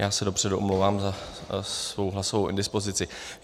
Já se dopředu omlouvám za svou hlasovou indispozici.